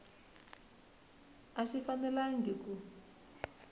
a xi fanelangi ku